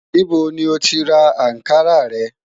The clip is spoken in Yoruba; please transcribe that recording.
Níbó ni o ti rà Ànkarà rẹ̀?